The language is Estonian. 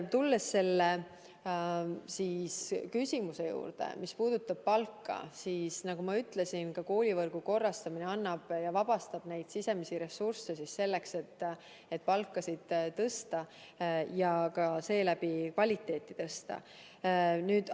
Tulles palgaküsimuse juurde, siis nagu ma ütlesin, ka koolivõrgu korrastamine vabastab sisemisi ressursse selleks, et palkasid suurendada ja seeläbi ka kvaliteeti parandada.